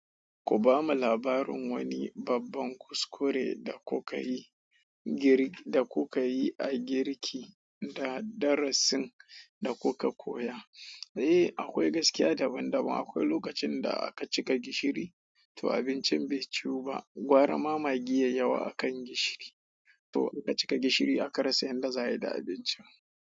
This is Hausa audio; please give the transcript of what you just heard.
Ku ba mu labarin wani babban kuskure da kuka yi a girki da darasin da kuka koya. Eh, akwai gaskiya daban daban. Akwai lokacin da aka cika gishiri, to abincin bai ciwu ba. Gwara magi yayi yawa akan gishiri to aka cika gishiri aka rasa yadda za ayi da abinci.